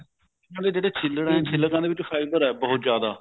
ਆ ਜਿਹੜੇ ਛੀਲੜ ਐ ਛੀਲੜਾ ਦੇ ਵਿੱਚ fiber ਐ ਬਹੁਤ ਜਿਆਦਾ